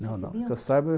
Não, não, que eu saiba.